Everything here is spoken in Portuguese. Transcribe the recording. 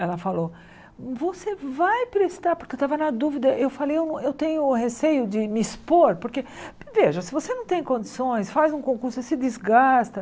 Ela falou, você vai prestar, porque eu estava na dúvida, eu falei, eu eu tenho receio de me expor, porque, veja, se você não tem condições, faz um concurso, você se desgasta.